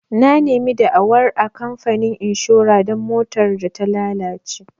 Na nemi da'awar a kamfanin inshora don motar da ta lalace.